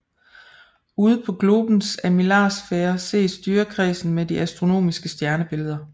Ude på globens armillarsfærer ses dyrekredsen med de astronomiske stjernebilleder